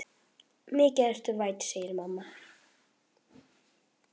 Mikið ertu vænn, segir mamma.